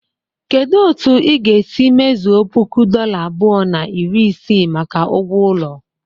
Kedu otu ị ga-esi mezuo puku dola abụọ na iri isii maka ugwo ulo?